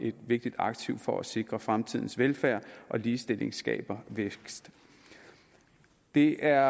et vigtigt aktiv for at sikre fremtidens velfærd og ligestilling skaber vækst det er